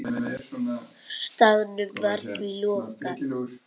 Staðnum var því lokað.